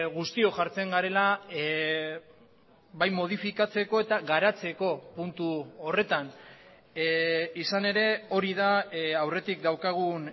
guztiok jartzen garela bai modifikatzeko eta garatzeko puntu horretan izan ere hori da aurretik daukagun